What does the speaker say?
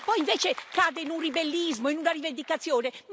Lei poi invece cade in un ribellismo, in una rivendicazione.